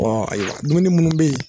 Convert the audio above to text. Ɔ ee dumuni munnu be yen